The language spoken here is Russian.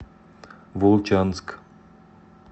волчанск